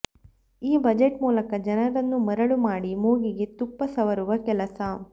ಈ ಬಜೆಟ್ ಮೂಲಕ ಜನರನ್ನು ಮರಳು ಮಾಡಿ ಮೂಗಿಗೆ ತುಪ್ಪ ಸವರುವ ಕೆಲಸ